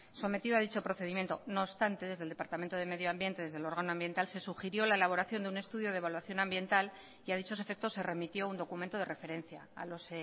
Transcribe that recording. sometido a dicho procedimiento no obstante desde el departamento de medioambiente desde el órgano ambiental se sugirió la elaboración de un estudio de evaluación ambiental y a dichos efectos se remitió un documento de referencia a los